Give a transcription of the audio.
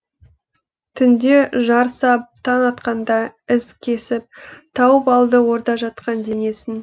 түнде жар сап таң атқанда із кесіп тауып алды орда жатқан денесін